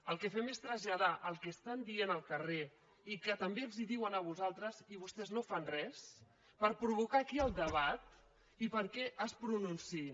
el que fem és traslladar el que estan dient al carrer i que també els ho diuen a vostès i vostès no fan res per provocar aquí el de·bat i perquè es pronunciïn